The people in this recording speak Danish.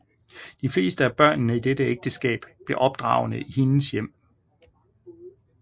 De fleste af børnene i dette ægteskab blev opdragne i hendes hjem